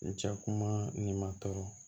N cɛ kuma nin ma tɔɔrɔ